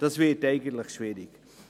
das würde schwierig.